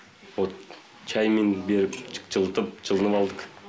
вот чаймен беріп жылытып жылым алдық